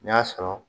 N y'a sɔrɔ